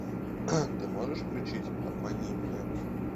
ты можешь включить обмани меня